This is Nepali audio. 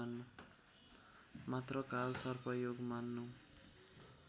मात्र कालसर्पयोग मान्नु